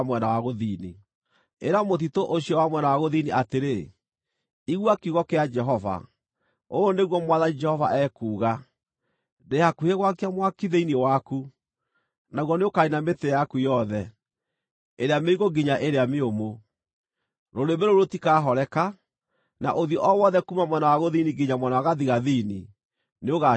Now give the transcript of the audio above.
Ĩra mũtitũ ũcio wa mwena wa gũthini atĩrĩ: ‘Igua kiugo kĩa Jehova. Ũũ nĩguo Mwathani Jehova ekuuga: Ndĩ hakuhĩ gwakia mwaki thĩinĩ waku, naguo nĩũkaniina mĩtĩ yaku yothe, ĩrĩa mĩigũ nginya ĩrĩa mĩũmũ. Rũrĩrĩmbĩ rũu rũtikahoreka, na ũthiũ o wothe kuuma mwena wa gũthini nginya mwena wa gathigathini nĩũgaacinwo nĩruo.